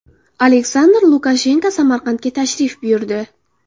Aleksandr Lukashenko Samarqandga tashrif buyurdi .